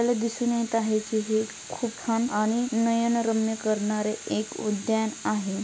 दिसून येत आहे खूप छान आणि नयन रम्य करणारे एक उदयान आहे.